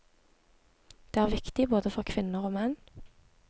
Det er viktig både for kvinner og menn.